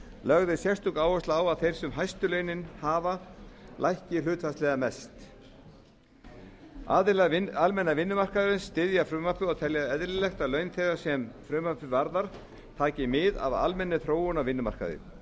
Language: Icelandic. lögð er sérstök áhersla á að þeir sem hæstu launin hafa lækki hlutfallslega mest aðilar almenna vinnumarkaðarins styðja frumvarpið og telja eðlilegt að laun þeirra sem frumvarpið varðar taki mið af almennri þróun á vinnumarkaði